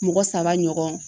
Mɔgɔ saba ɲɔgɔn